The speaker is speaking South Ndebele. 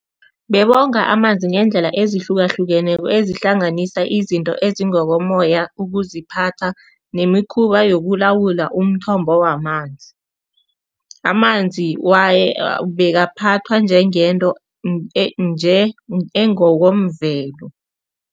Bebonga amanzi ngeendlela ezihlukahlukeneko, ezihlanganisa izinto ezingokomoya, ukuziphatha nemikhuba yokulawula umthombo wamanzi. Amanzi bekaphathwa njengento engokomvelo.